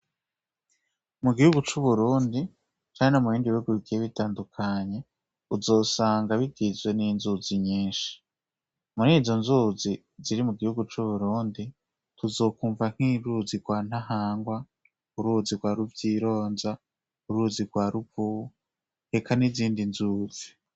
Mu gihugu c'uburundi cane amu bindi wiwebikiye bitandukanye uzosanga bigizwe n'inzuzi nyinshi muri izo nzuzi ziri mu gihugu c'uburundi tuzokwumva nk'iruzi rwa ntahangwa uruzi rwa ruvyironja uruzi rwa rugu heka n'izindi nzuzi.